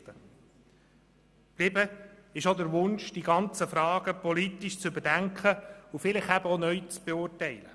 Übrig geblieben ist auch der Wunsch, die ganzen Fragen politisch zu überdenken und vielleicht auch neu zu beurteilen.